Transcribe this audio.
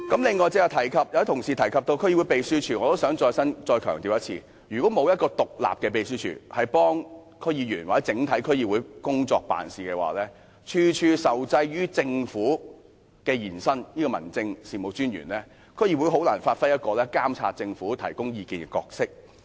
此外，剛才有同事提及區議會秘書處，我也想再強調一次，如果沒有獨立的秘書處協助區議員或整體區議會工作，處處受制於政府或民政事務專員，區議會便難以發揮監察政府，提供意見的角色。